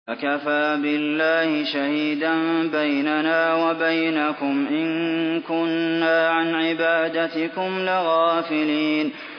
فَكَفَىٰ بِاللَّهِ شَهِيدًا بَيْنَنَا وَبَيْنَكُمْ إِن كُنَّا عَنْ عِبَادَتِكُمْ لَغَافِلِينَ